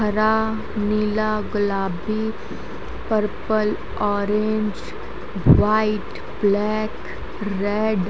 हरा नीला गुलाबी purple orange white black red --